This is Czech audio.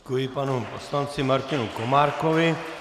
Děkuji panu poslanci Martinovi Komárkovi.